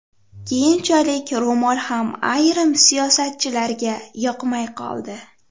keyinchalik ro‘mol ham ayrim siyosatchilarga yoqmay qoldi.